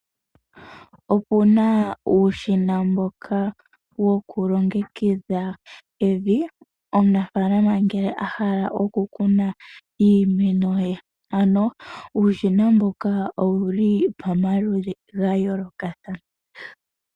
Okuna uushina mboka wokulongekidha evi, omunafaalana ngele ahala oku kuna iimeno ye. Ano uushina mbuka owuli pamaludhi gayoolokathana.